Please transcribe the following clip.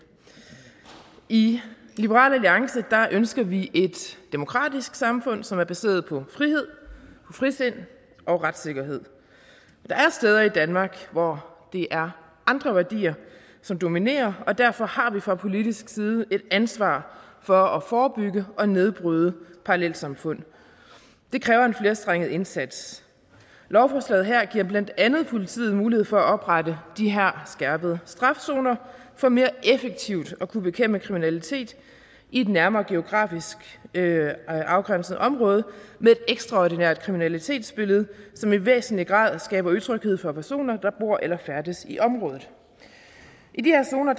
i liberal alliance ønsker vi et demokratisk samfund som er baseret på frihed frisind og retssikkerhed der er steder i danmark hvor det er andre værdier som dominerer og derfor har vi fra politisk side et ansvar for at forebygge og nedbryde parallelsamfund det kræver en flerstrenget indsats lovforslaget her giver blandt andet politiet mulighed for at oprette de her skærpet straf zoner for mere effektivt at kunne bekæmpe kriminalitet i et nærmere geografisk afgrænset område med et ekstraordinært kriminalitetsbillede som i væsentlig grad skaber utryghed for personer der bor eller færdes i området i de her zoner